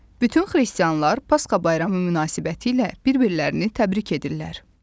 Bütün xristianlar Pasxa bayramı münasibətilə bir-birlərini təbrik edirlər.